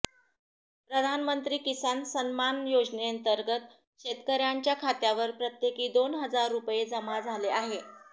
प्रधानमंत्री किसान सन्मान योजनेतंर्गत शेतकऱ्यांच्या खात्यावर प्रत्येकी दोन हजार रुपये जमा झाले आहे